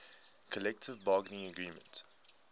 collective bargaining agreement